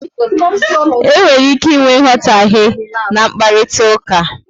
E nwere ike ịnwe nghotahe n'mkparitauka